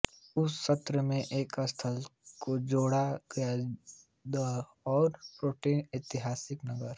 उस सत्र में एक स्थल को जोड़ा गया द औरो प्रेटो का ऐतिहासिक नगर